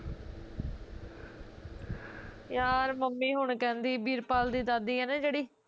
ਯਾਰ ਮੰਮੀ ਹੁਣ ਕਹਿੰਦੀ ਵੀਰਪਾਲ ਦੀ ਦਾਦੀ ਐ ਨਾ ਜਿਹੜੀ